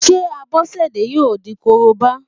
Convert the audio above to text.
Ṣé Abọ́sẹ̀dé yóò di Korobá?